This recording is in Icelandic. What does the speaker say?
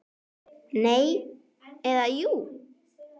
Nei. eða jú!